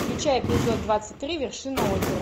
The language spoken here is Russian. включай эпизод двадцать три вершина озера